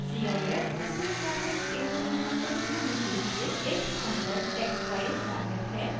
cif crystallographic information को दिखाने के लिए एक standard text file format है